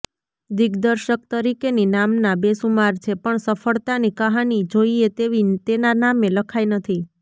દિગ્દર્શક તરીકેની નામના બેસુમાર છે પણ સફ્ળતાની કહાની જોઈએ તેવી તેના નામે લખાઈ નથી